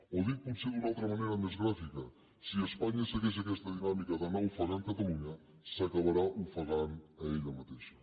o dit potser d’una altra manera més gràfica si espanya segueix aquesta dinàmica d’anar ofegant catalunya s’acabarà ofegant ella mateixa